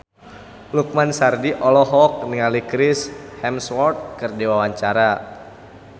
Lukman Sardi olohok ningali Chris Hemsworth keur diwawancara